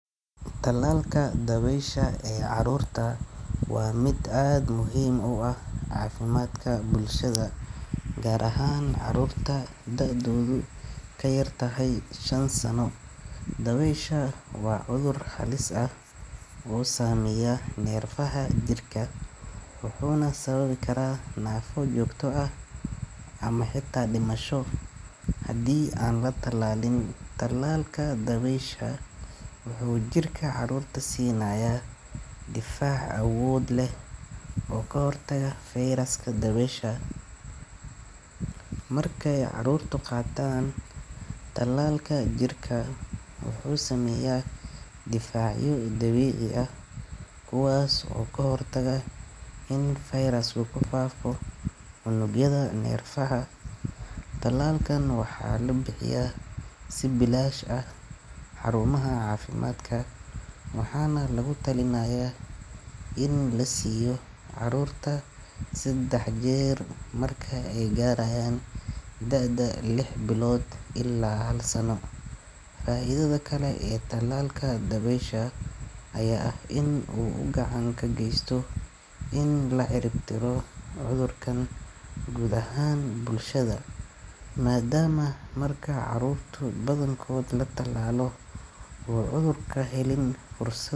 Talalka dawesha ee carurta waa miid aad muhiim u ah cafimaadka bulshaada gar ahan carurta lajogo ee kayartahay shan sano waa cudhur halis ah sameya nefaha jirka wuxuna sawabi karaa nefo jogto ah ama xita dimasho hadii an la talalin cudhurka dawesha wuxuu jirka carurta sinaya difac awod leh oo ka hortaga fairaska dawesha markee carurta qatan talalka jirka wuxuu sameya difacyo dabici ah oo ka hortaga in virus u ku fafo cunugyaada nefaha, talalkan waxaa la bixiya si bilash ah xarumaha cafimadka waxana lagu talinaya in lasiyo carurta sedax jer marki ee garayan daada lix bilod ila hal sano faidada kale ee talalka dawesha aya in u gacanta ka gesto in la cirib tiro gud ahan bulshaada madama darka carurta badana la talalo xirir balse.